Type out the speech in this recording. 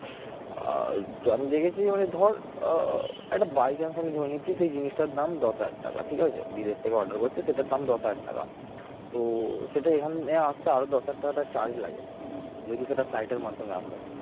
আহ আমি দেখেছি মানে ধর আহ একটা by chance আমি ধরে নিচ্ছি সেই জিনিসটার দাম দশ হাজার টাকা ঠিক আছে বিদেশ থেকে order করছে সেটার দাম দশ হাজার টাকা তো সেটা এখানে আসতে আরো দশ হাজার টাকাটা charge লাগে যেহেতু সেটা flight এর মাধ্যমে আসে